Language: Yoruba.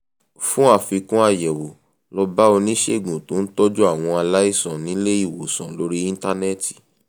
fún àfikún àyẹ̀wò lọ bá oníṣègùn tó ń tọ́jú àwọn aláìsàn nílé ìwòsàn lórí íńtánẹ́ẹ̀tì